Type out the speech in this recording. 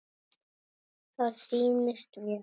Það sýnist mér.